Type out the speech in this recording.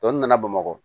Tɔ ninnu nana bamakɔ